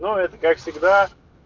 как всегда